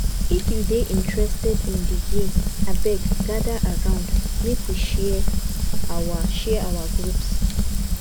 if you dey interested in the game abeg gather around make we share our share our groups